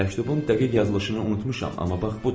Məktubun dəqiq yazılışını unutmuşam, amma bax budur.